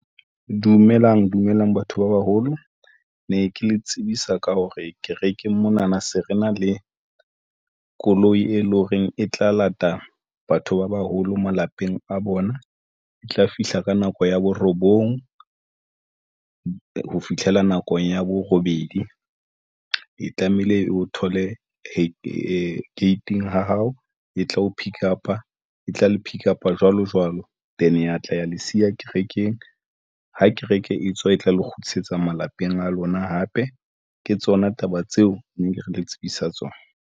Dumelang dumelang batho ba baholo ne ke le tsebisa ka hore kerekeng mona na se re na le koloi, e leng horeng e tla lata batho ba baholo malapeng a bona. E tla fihla ka nako ya bo robong, ho fitlhela nakong ya borobedi. E tlamehile e o thole ko gating ya hao e tla o pickup-a e tla le pickup-a jwalo jwalo teng ya tla ya le siya kerekeng ha kereke e tswa, e tla le kgutlisetse malapeng a lona hape, ke tsona taba tseo ne ke re le tsebisa tsona